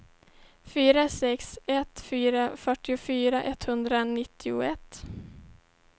fyra sex ett fyra fyrtiofyra etthundranittioett